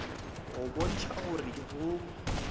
go botša go re go